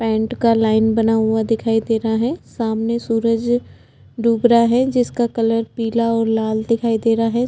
Paint का line बना हुआ दिखाई दे रहा है सामने सुरज डूब रहा है जिसका कलर पिला और लाल दिखाई दे रहा है।